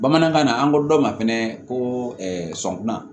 Bamanankan na an ko dɔ ma fɛnɛ ko sɔnkunna